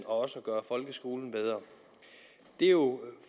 også gøre folkeskolen bedre det er jo